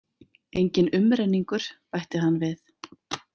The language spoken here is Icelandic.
Enginn umrenningur, bætti hann við.